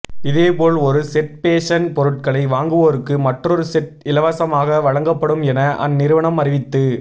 இதேபோல் ஒரு set fashion பொருட்களை வாங்குவோருக்கு மற்றொரு செட் இலவசமாக வழங்கப்படும் என அந்நிறுவனம் அறிவித்து